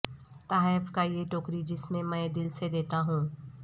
تحائف کا یہ ٹوکری جس میں میں دل سے دیتا ہوں